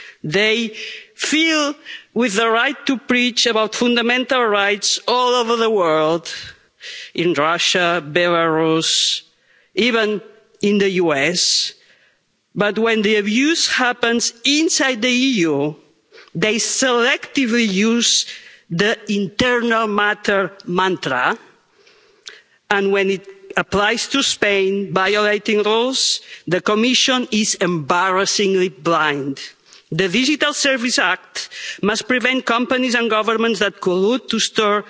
They feel they have the right to preach about fundamental rights all over the world in Russia, in Belarus and even in the US, but when the abuse happens inside the EU, they selectively use the internal matter mantra and when it applies to Spain violating laws, the Commission is embarrassingly blind. The Digital Services Act must prevent companies and governments that collude to store